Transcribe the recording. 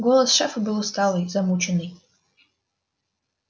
голос шефа был усталый замученный